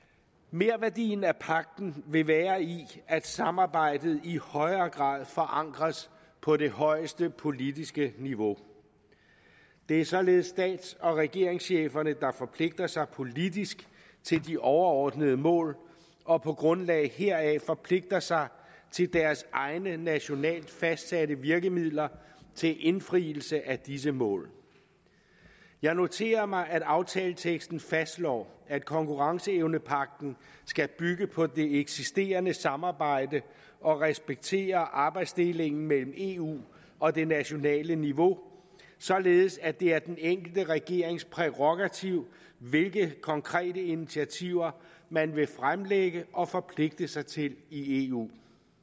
merværdien af pagten vil være i at samarbejdet i højere grad forankres på det højeste politiske niveau det er således stats og regeringscheferne der forpligter sig politisk til de overordnede mål og på grundlag heraf forpligter sig til deres egne nationalt fastsatte virkemidler til indfrielse af disse mål jeg noterer mig at aftaleteksten fastslår at konkurrenceevnepagten skal bygge på det eksisterende samarbejde og respektere arbejdsdelingen mellem eu og det nationale niveau således at det er den enkelte regerings prærogativ hvilke konkrete initiativer man vil fremlægge og forpligte sig til i eu